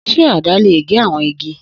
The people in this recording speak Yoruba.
Se àdá le ge awọn igi?